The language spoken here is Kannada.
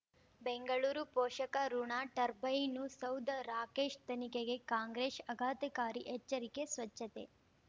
ಬೆಂಗಳೂರು ಪೋಷಕಋಣ ಟರ್ಬೈನು ಸೌಧ ರಾಕೇಶ್ ತನಿಖೆಗೆ ಕಾಂಗ್ರೆಸ್ ಆಘಾತಕಾರಿ ಎಚ್ಚರಿಕೆ ಸ್ವಚ್ಛತೆ